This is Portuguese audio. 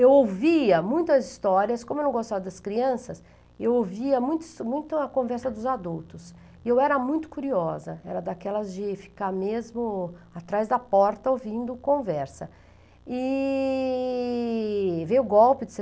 eu ouvia muitas histórias como eu não gostava das crianças eu ouvia muitos muito a conversa dos adultos e eu era muito curiosa era daquelas de ficar mesmo atrás da porta ouvindo conversa e veio o golpe de